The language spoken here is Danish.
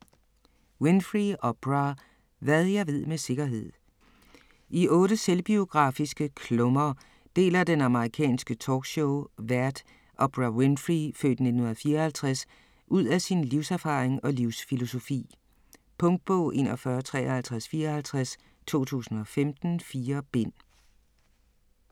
Winfrey, Oprah: Hvad jeg ved med sikkerhed I 8 selvbiografiske klummer deler den amerikanske talkshowvært, Oprah Winfrey (f. 1954), ud af sin livserfaring og livsfilosofi. Punktbog 415354 2015. 4 bind.